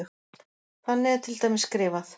Þannig er til dæmis skrifað: